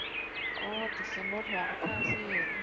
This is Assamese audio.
অ december ত হোৱা কথা আছিল